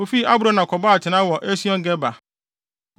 Wofii Abrona kɔbɔɔ atenae wɔ Esion-Geber.